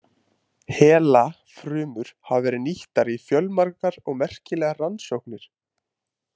HeLa-frumur hafa verið nýttar í fjölmargar og merkilegar rannsóknir.